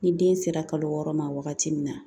Ni den sera kalo wɔɔrɔ ma wagati min na